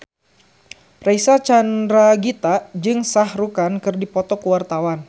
Reysa Chandragitta jeung Shah Rukh Khan keur dipoto ku wartawan